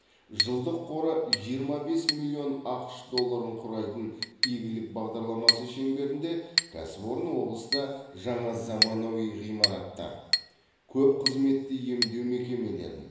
жылдық қоры жиырма бес миллион ақш долларын құрайтын игілік бағдарламасы шеңберінде кәсіпорын облыста жаңа заманауи ғимараттар көп қызметті емдеу мекемелерін